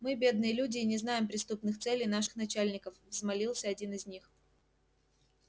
мы бедные люди и не знаем преступных целей наших начальников взмолился один из них